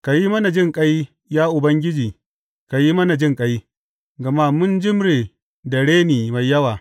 Ka yi mana jinƙai, ya Ubangiji, ka yi mana jinƙai, gama mun jimre da reni mai yawa.